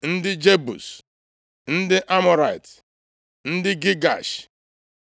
ndị Jebus, ndị Amọrait, ndị Gigash,